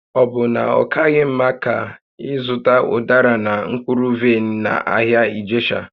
Ọ bụ na ọ kaghị mma ka ị zụta ụdara na mkpụrụ vaịn n'ahịa Ijesha?